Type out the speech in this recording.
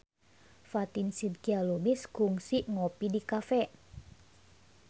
Fatin Shidqia Lubis kungsi ngopi di cafe